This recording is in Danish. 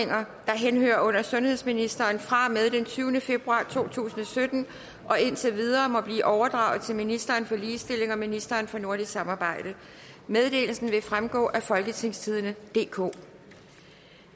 der henhører under sundhedsministeren fra og med den tyvende februar to tusind og sytten og indtil videre må blive overdraget til ministeren for ligestilling og ministeren for nordisk samarbejde meddelelsen vil fremgå af folketingstidende DK